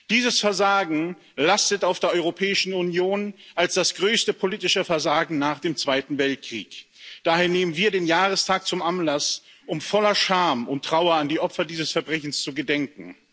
Dieses Versagen lastet auf der Europäischen Union als das größte politische Versagen nach dem Zweiten Weltkrieg. Daher nehmen wir den Jahrestag zum Anlass, um voller Scham und Trauer der Opfer dieses Verbrechens zu gedenken.